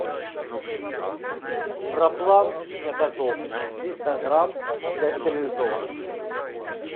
проплан для котов триста грамм для стерилизованных